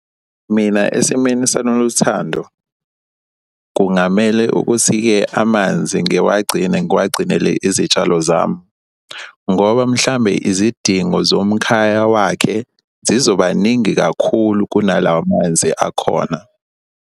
Mina esimeni saNoluthando kungamele ukuthi-ke amanzi ngiwagcine ngiwagcinele izitshalo zami ngoba mhlambe izidingo zomkhaya wakhe zizoba ningi kakhulu kunala manzi akhona.